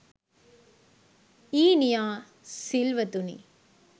ඊනියා සිල්වතුනි